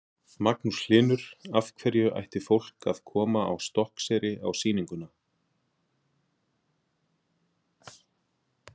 Magnús Hlynur: Af hverju ætti fólk að koma á Stokkseyri á sýninguna?